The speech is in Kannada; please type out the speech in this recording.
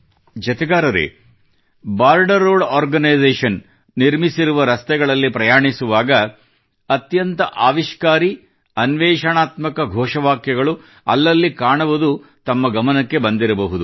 ಜತೆಗಾರರೇ ಬಾರ್ಡರ್ ರೋಡ್ ಆರ್ಗನೈಜೇಶನ್ ನಿರ್ಮಿಸುವ ರಸ್ತೆಗಳಲ್ಲಿ ಪ್ರಯಾಣಿಸುವಾಗ ಅತ್ಯಂತ ಆವಿಷ್ಕಾರಿ ಅನ್ವೇಷಣಾತ್ಮಕ ಘೋಷವಾಕ್ಯಗಳು ಅಲ್ಲಲ್ಲಿ ಕಾಣುವುದು ತಮ್ಮ ಗಮನಕ್ಕೆ ಬಂದಿರಬಹುದು